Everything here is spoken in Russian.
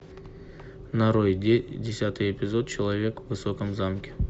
нарой десятый эпизод человек в высоком замке